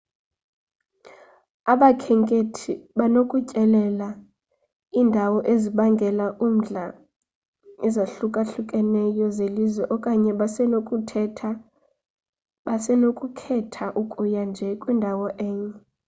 abakhenkethi banokutyelela iindawo ezibangela umdla ezahlukahlukeneyo zelizwe okanye basenokukhetha ukuya nje kwindawo enye